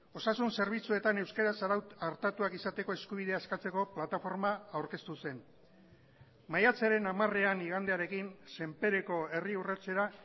osasun zerbitzuetan euskaraz artatuak izateko eskubidea eskatzeko plataforma aurkeztu zen maiatzaren hamarean igandearekin senpereko herri urratsera